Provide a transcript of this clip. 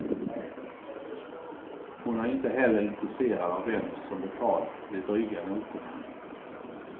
Hon är inte heller intresserad av vem som betalat de dryga notorna.